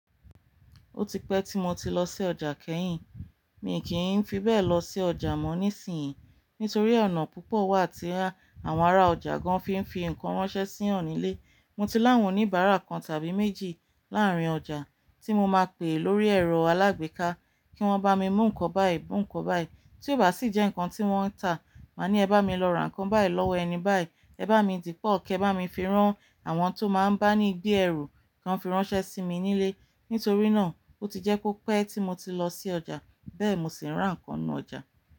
Ó ti pẹ́ tí mo ti lọ sí ọjà kẹ́yìn. Mi kì í fi bẹ lọ sí ọjà mọ́ nísìyí nítorí ọ̀nà púpọ̀ wà tí àwọn ará ọjà gan fí ń fi nǹkan ránṣẹ́ sí wọn nílé. Mo ti láwọn oníbárà kan tàbí méjì láàrin ọjà tí mo máa pè lórí ẹ̀rọ alágbèéká kí wọ́n bá mi mú nǹkan báyìí, mú nǹkan báyìí. Tí ó bá sì jẹ́ nǹkan tí wọ́n ń tà, màá ní "Ẹ bá mi lọ ra nǹkan báyìí lọ́wọ́ ẹni báyìí", "Ẹ bá mi dìpọ̀", "Kẹ bá mi fi rán", àwọn tó máa ń bá ní gbé ẹrù kan fi ránṣẹ́ sí mi nílé. Nítorí náà, ó ti jẹ́ kó pẹ́ tí mo ti lọ sí ọjà, bẹ́ẹ̀ sì máa ń ra nǹkan nínú ọjà.